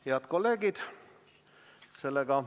Head kolleegid!